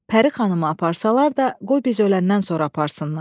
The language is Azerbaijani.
Pəri xanımı aparsalar da, qoy biz öləndən sonra aparsınlar.